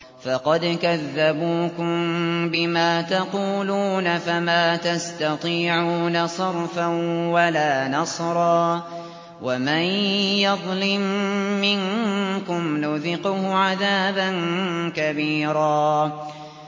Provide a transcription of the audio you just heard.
فَقَدْ كَذَّبُوكُم بِمَا تَقُولُونَ فَمَا تَسْتَطِيعُونَ صَرْفًا وَلَا نَصْرًا ۚ وَمَن يَظْلِم مِّنكُمْ نُذِقْهُ عَذَابًا كَبِيرًا